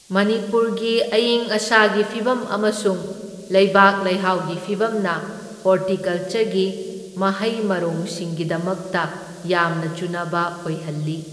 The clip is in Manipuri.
ꯃꯅꯤꯄꯨꯔꯒꯤ ꯑꯏꯪ ꯑꯁꯥꯒꯤ ꯐꯤꯚꯝ ꯑꯃꯁꯨꯡ ꯂꯩꯕꯥꯛ ꯂꯩꯍꯥꯎꯒꯤ ꯐꯤꯚꯝꯅ ꯍꯣꯔꯇꯤꯀꯜꯆꯔꯒꯤ ꯃꯍꯩ ꯃꯔꯣꯡꯁꯤꯡꯒꯤꯗꯃꯛꯇ ꯌꯥꯝꯅ ꯆꯨꯅꯕ ꯑꯣꯏꯍꯜꯂꯤ꯫